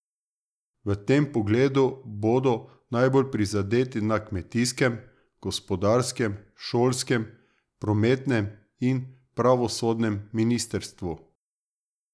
V tem pogledu bodo najbolj prizadeti na kmetijskem, gospodarskem, šolskem, prometnem in pravosodnem ministrstvu.